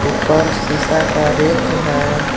ऊपर शीशा का रेक है।